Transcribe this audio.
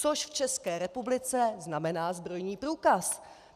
Což v České republice znamená zbrojní průkaz.